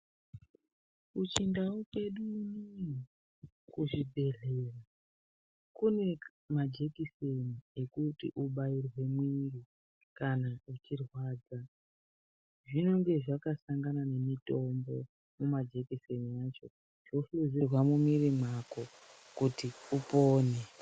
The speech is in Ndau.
Kuchindau kwedu kuzvibhehlera kune majekiseni ekuti ubairwe muri kana ichirwadza zvinenge zvakasanga nemutombo mumajekiseni acho ohluzirwa mumiri mako kuti upone.